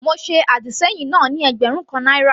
Mo ṣe àdìsẹ́yìn náà ní ẹgbẹ̀rún kan náírà.